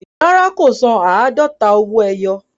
Rárá, kò san àádọ́ta owó ẹyọ